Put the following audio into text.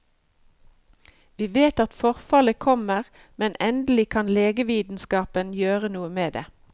Vi vet at forfallet kommer, men endelig kan legevitenskapen gjøre noe med det.